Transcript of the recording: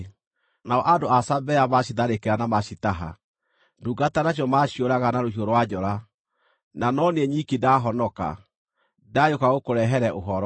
nao andũ a Sabea macitharĩkĩra na macitaha. Ndungata nacio maciũraga na rũhiũ rwa njora, na no niĩ nyiki ndahonoka, ndagĩũka gũkũrehere ũhoro!”